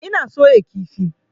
Ina soya kifi.